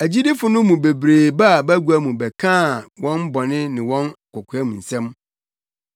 Agyidifo no mu bebree baa bagua mu bɛkaa wɔn bɔne ne wɔn kokoamsɛm.